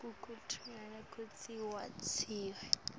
kukuvimbela kutsi watise